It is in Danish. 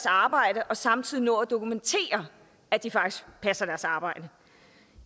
arbejde og samtidig nå at dokumentere at de faktisk passer deres arbejde